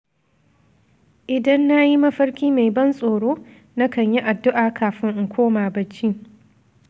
Idan na yi mafarki mai ban tsoro, na kan yi addu’a kafin in koma bacci.